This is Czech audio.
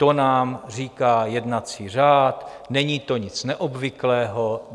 To nám říká jednací řád, není to nic neobvyklého.